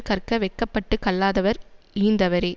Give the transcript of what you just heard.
கற்க வெட்கப்பட்டுக் கல்லாதவர் இழிந்தவரே